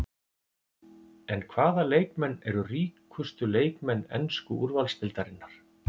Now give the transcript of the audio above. En hvaða leikmenn eru ríkustu leikmenn ensku úrvalsdeildarinnar?